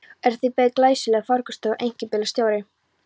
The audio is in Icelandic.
Þar beið glæsilegur farkostur og einkabílstjóri.